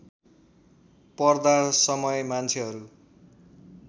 पर्दा समय मान्छेहरू